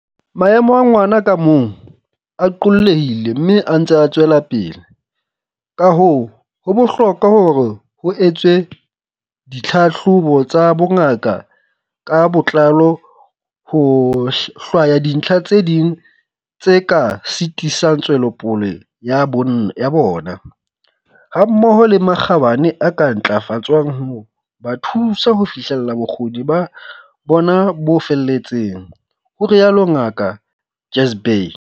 "Maemo a ngwana ka mong a qollehile mme a ntse a tswelapele, kahoo ho bohlokwa hore ho etswe dithlahlobo tsa bongaka ka botlalo ho hlwaya dintlha tse ding tse ka sitisang tswelopole ya bonn ya bona, hammoho le makgabane a ka ntlafatswang ho ba thusa ho fihlella bokgoni ba bona bo feletseng," ho rialo Ngaka Jhazbhay.